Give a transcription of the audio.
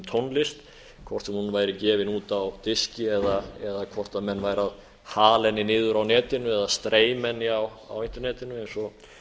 tónlist hvort sem hún væri gefin út á diski eða hvort menn væru að hala henni niður á netinu eða streyma henni á internetinu eins og